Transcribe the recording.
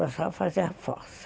Passava a fazer a força.